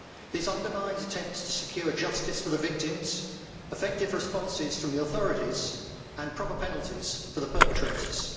This undermines attempts to secure justice for the victims, effective responses from the authorities, and proper penalties for the perpetrators.